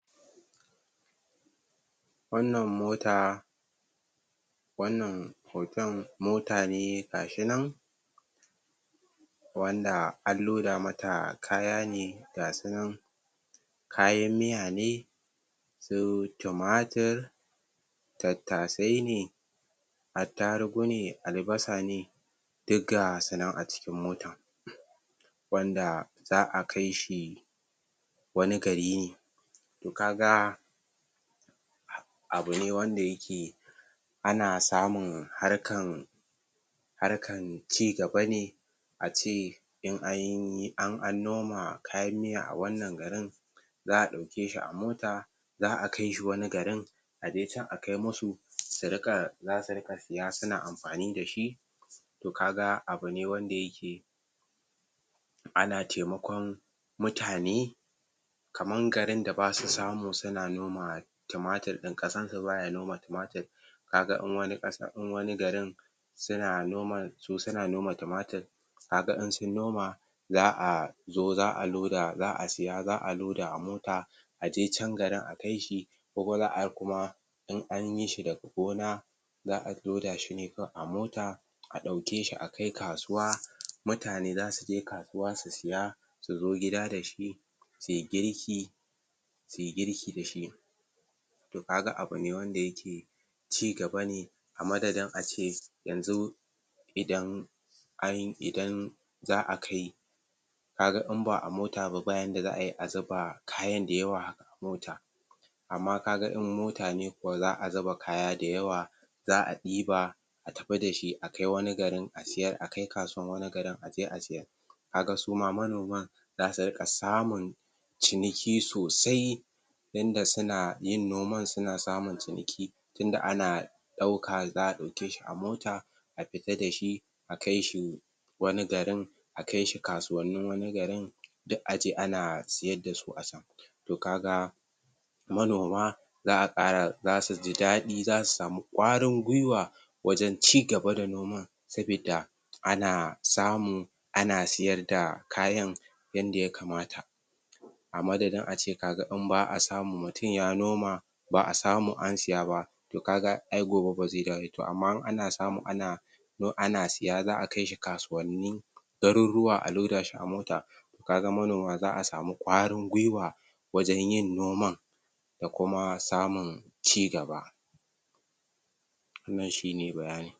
Wannan mota, wannan hotan mota ne gashi nan, wanda an loda mata kaya ne, gasu nan. Kayan miya ne, su tumatur, tattasai ne, attarugu ne, albasa ne, duk gasu nan a cikin motan. Wanda za a kai shi wani gari ne. To, kaga abu ne wanda yiki ana samun harkan harkan cigaba ne, a ce in noma kayan miya a wannan garin, za a ɗauke shi a mota, za a kaishi wani garin, a je can a kai musu, zasu riƙa siya suna amfani dashi. To, kaga abu ne wanda yike ana taimakon mutane, kaman garin da basu samu suna noma tumatir ɗin, ƙasan su baya noma tumatir, kaga in wani garin suna noma su suna noma tumatir, kaga in sun noma, za a zo za a loda, za a siya za a loda a mota, a je can garin a kai shi, kuma in an yishi daga gona, za a loda shi ne kawai a mota, a ɗauke shi a kai kasuwa, mutane zasu je kasuwa su siya, su zo gida dashi, suyi girki, suyi girki dashi. Kaga abu ne wanda yake cigaba ne, a madadin a ce yanzu idan an idan za a kai, kaga in ba a mota ba, ba yanda za ai a zuba kayan da yawa haka a mota, amma kaga in mota ne kuwa za a zuba kaya da yawa, za a ɗiba a tafi dashi, a kai wani garin a siyar, a kai kasuwan wani garin a je a siyar. Kaga su ma manoma, zasu riƙa samun ciniki sosai, yanda suna yin noman suna samun ciniki, tunda ana ɗauka za a ɗauke shi a mota, a fita dashi, a kai shi wani garin, a kai shi kasuwannin wani garin, duk aje ana sayar dasu a sam. To, kaga manoma za suji daɗi, za su sami ƙwarin gwuiwa wajan cigaba da noman. Sabida ana samu ana siyar da kayan yanda ya kamata. A madadin ace kaga in ba a samu, mutum ya noma ba a samu an siya ba, to kaga ai gobe ba zai dawo yayi, to amma in ana samu ana ana siya, za a kai shi kasuwanni ɗarurruwa a loda shi a mota, kaga manoma za a samu ƙwarin gwuiwa, wajan yin noman, da kuma samun cigaba. Wannan shi ne bayanin.